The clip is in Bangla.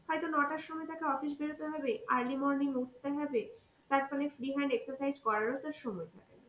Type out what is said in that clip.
হয়তো ন টার সময় তাকে অফিস বেরোতে হবে, early morning উঠতে হবে তার ফলে free hand exercise করারও তো সময় নেই.